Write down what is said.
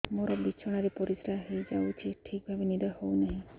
ମୋର ବିଛଣାରେ ପରିସ୍ରା ହେଇଯାଉଛି ଠିକ ଭାବେ ନିଦ ହଉ ନାହିଁ